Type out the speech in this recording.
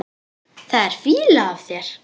Það er fýla af þér.